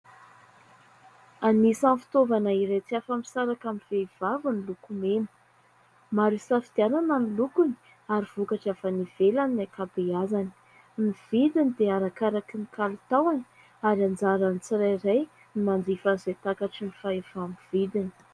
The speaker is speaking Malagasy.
Anisan'ny fitaovana iray tsy afa-misaraka amin'ny vehivavy ny lokomena. Maro hisafidianana ny lokony ary vokatra avy any ivelany ny ankabeazany. Ny vidiny dia arakaraky ny kalitaony ary anjaran'ny tsirairay ny manjifa izay takatry ny fahefa-mividiny.